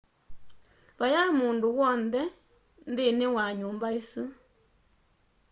vayaĩ mũndũ wonthe nthĩnĩ wa nyumba ĩsu